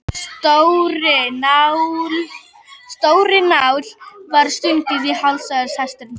Stórri nál var stungið í hálsæð hestsins.